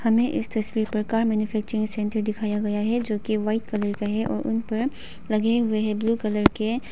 हमें इस तस्वीर पर कार मैन्युफैक्चरिंग सेंटर दिखाया गया है जोकि वाइट कलर का है और उन पर लगे हुए हैं ब्लू कलर के।